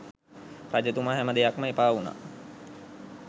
රජතුමා හැම දෙයක්ම එපා වුනා